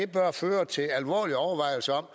bør føre til alvorlige overvejelser om